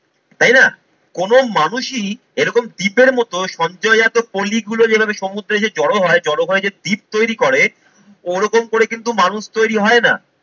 তাই না? কোনো মানুষই এরকম দ্বীপের মতো সঞ্চয়জাত পলিগুলো যেভাবে সমুদ্রে এসে জড়ো হয়, জড়ো হয়ে যে দ্বীপ তৈরি করে. ওরকম করে কিন্তু মানুষ তৈরি হয় না।